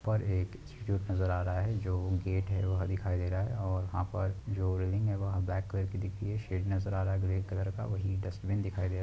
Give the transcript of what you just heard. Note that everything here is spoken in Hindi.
पर एक इंस्टीट्यूट नज़र आ रहा है जो गेट वह दिखाई दे रहा है और वहा पर जो रिल्लिंग है वो ब्लॅक कलर की दिख रही है शेड नज़र आ रहा है ग्रे कलर का वही डस्ट्बिन दिखाई दे रहा --